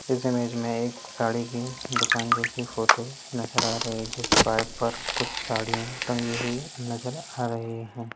इस इमेज मे एक साड़ी की दुकान जैसी फोटो नज़र आ रही है कुछ साड़िया टंगी हुई नजर आ रही है।